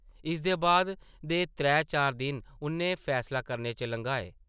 इसदे बाद दे त्रै-चार दिन उʼन्नै फैसला करने च लंघाए ।